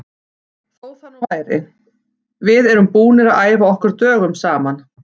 Þó það nú væri, við erum búnir að æfa okkur dögum saman.